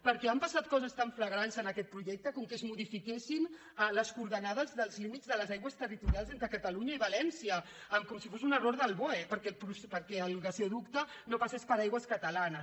perquè han passat coses tan flagrants en aquest projecte com que es modifiquessin les coordenades dels límits de les aigües territorials entre catalunya i valència com si fos un error del boe perquè el gasoducte no passés per aigües catalanes